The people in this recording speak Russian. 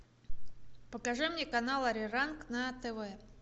покажи мне канал ариранг на тв